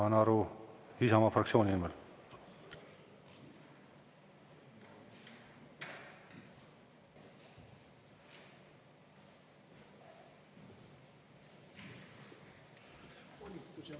Saan aru, Isamaa fraktsiooni nimel.